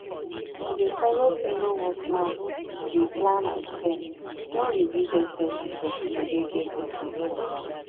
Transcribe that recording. to dey follow fellow workman dey plan and spend don reduce exepenses for people wey get big post for work